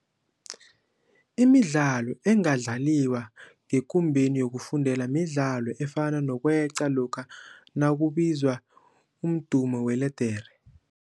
Imidlalo engadlaliwa ngekumbeni yokufundela midlalo efana nokweqa lokha nakubizwa umdumo weledere.